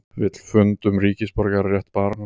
Vill fund um ríkisborgararétt barns